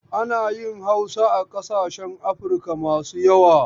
Ana yin Hausa a ƙasashen Afirika masu yawa.